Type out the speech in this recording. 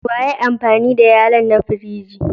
Wa ya yi amfani da yallo'n da ya na firiji?